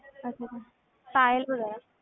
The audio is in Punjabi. ਅੱਛਾ ਅੱਛਾ